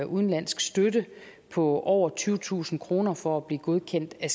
udenlandsk støtte på over tyvetusind kroner for at blive godkendt af